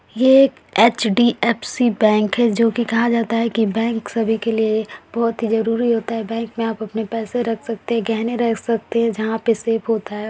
ये एक HDFC bank है जो कि कहा जाता है कि बैंक सभी के लिए बहोत ही जरुरी होता है। बैंक में आप अपने पैसे रख सकते हैं गेहने रख सकते हैं जहां पे सेफ होता है।